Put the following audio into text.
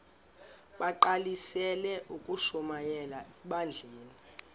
bagqalisele ukushumayela ebandleni